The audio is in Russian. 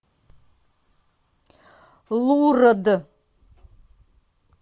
лурд